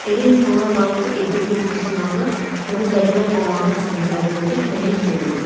Elə insanlar var ki, evdə güzgü sınanda bunu bədbəxt əlamət kimi qəbul edib məyus olurlar.